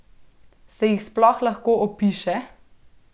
Se jih sploh lahko opiše?